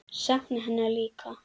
Sakna hennar líka.